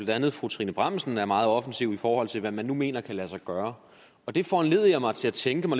andet fru trine bramsen er meget offensiv i forhold til hvad man nu mener kan lade sig gøre og det får mig til at tænke på